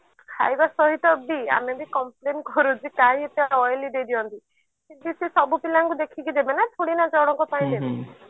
ଖାଇବା ସହିତ ବି ଆମେ ବି compline କରୁ ଯେ କାଇଁ ଏତେ oily ଦେଇ ଦିଅନ୍ତି ଯେ ସେ ସବୁ ପିଲାଙ୍କୁ ଦେଖିକି ଦେବେ ନା ଥୋଡି ନା ଜଣଙ୍କ ପାଇଁ ଦେବେ